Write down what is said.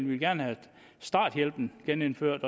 vil gerne have starthjælpen genindført